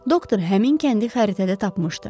Doktor həmin kəndi xəritədə tapmışdı.